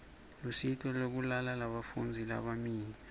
lusito lwekulala lebafundzi labalimele